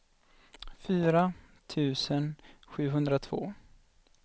fyra tusen sjuhundratvå